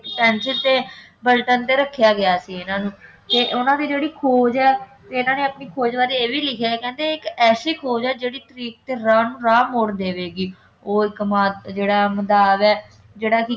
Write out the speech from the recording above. penicillin ਤੇ ਪਲਟਨ ਤੇ ਰੱਖਿਆ ਗਿਆ ਸੀ ਇਨ੍ਹਾਂ ਨੂੰ ਤੇ ਉਨ੍ਹਾਂ ਦੀ ਜਿਹੜੀ ਖੋਜ ਹੈ ਇਨ੍ਹਾਂ ਨੇ ਆਪਣੀ ਖੋਜ਼ ਬਾਰੇ ਇਹ ਵੀ ਲਿਖਿਆ ਹੈ ਕਿ ਇਹ ਇੱਕ ਐਸੀ ਖੋਜ ਹੈ ਜਿਹੜੀ ਤਰੀਕ ਤੇ ਰਾਹ ਨੂੰ ਰਾਹ ਮੋੜ ਦੇਵੇਗੀ ਉਹ ਇੱਕ ਕੁਮਾਰ ਜਿਹੜਾ ਮੰਦਾਵ ਹੈ ਜਿਹੜਾ ਕਿ